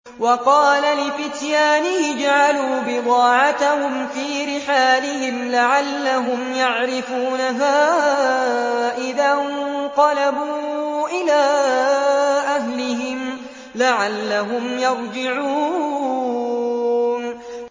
وَقَالَ لِفِتْيَانِهِ اجْعَلُوا بِضَاعَتَهُمْ فِي رِحَالِهِمْ لَعَلَّهُمْ يَعْرِفُونَهَا إِذَا انقَلَبُوا إِلَىٰ أَهْلِهِمْ لَعَلَّهُمْ يَرْجِعُونَ